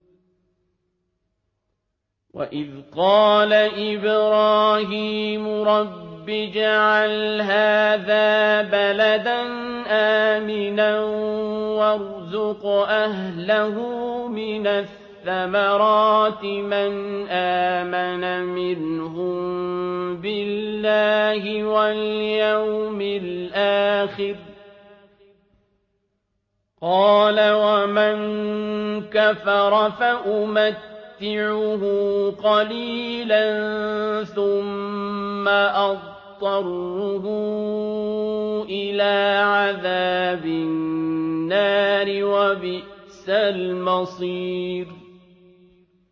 وَإِذْ قَالَ إِبْرَاهِيمُ رَبِّ اجْعَلْ هَٰذَا بَلَدًا آمِنًا وَارْزُقْ أَهْلَهُ مِنَ الثَّمَرَاتِ مَنْ آمَنَ مِنْهُم بِاللَّهِ وَالْيَوْمِ الْآخِرِ ۖ قَالَ وَمَن كَفَرَ فَأُمَتِّعُهُ قَلِيلًا ثُمَّ أَضْطَرُّهُ إِلَىٰ عَذَابِ النَّارِ ۖ وَبِئْسَ الْمَصِيرُ